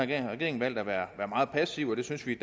der har regeringen valgt at være meget passiv og det synes vi